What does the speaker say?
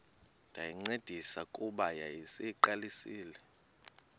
ndayincedisa kuba yayiseyiqalisile